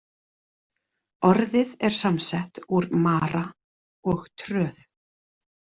Orðið er samsett úr „mara“ og „tröð“.